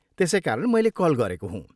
त्यसै कारण मैले कल गरेको हुँ।